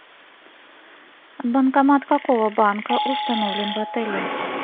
банкомат какого банка установлен в отеле